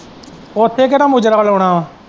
ਅਹ ਉੱਥੇ ਕਿਹੜਾ ਮੂਜ਼ਰਾ ਲਾਉਣਾ ਵਾ।